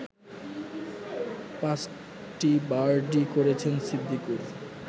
পাঁচটি বার্ডি করেছেন সিদ্দিকুর